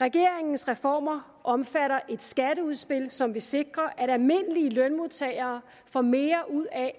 regeringens reformer omfatter et skatteudspil som vil sikre at almindelige lønmodtagere får mere ud af